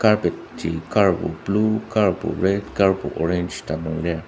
carpet ji karbo blue karbo red karbo orange ta nung lir.